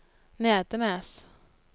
Nedenes